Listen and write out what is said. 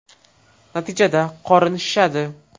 Natijada qorin shishadi.